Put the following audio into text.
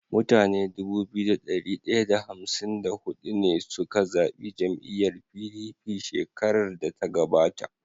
Mutane Dubu biyu da dari daya da hamsin da hudu ne suka zabi jam'iyar PDP shkerar da ta gabata